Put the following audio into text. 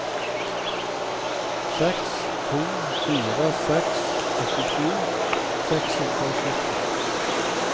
seks to fire seks åttisju seks hundre og sytti